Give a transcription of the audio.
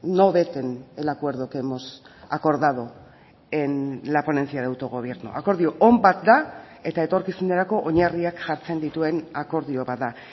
no veten el acuerdo que hemos acordado en la ponencia de autogobierno akordio on bat da eta etorkizunerako oinarriak jartzen dituen akordio bat da